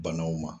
Banaw ma